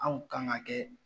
Aw kan ka kɛ